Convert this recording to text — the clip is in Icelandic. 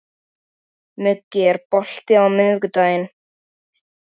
Hættið að slæpast og láta aðra vinna fyrir ykkur.